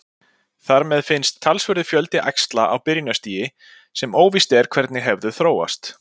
Þar með finnst talsverður fjöldi æxla á byrjunarstigi sem óvíst er hvernig hefðu þróast.